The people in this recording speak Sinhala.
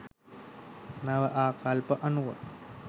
නව ආකල්ප අනුව